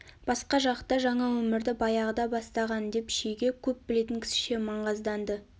басқа жақта жаңа өмірді баяғыда бастаған деп шеге көп білетін кісіше маңғазданды